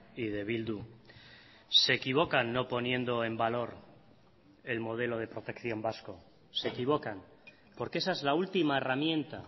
y de bildu se equivocan no poniendo en valor el modelo de protección vasco se equivocan porque esa es la última herramienta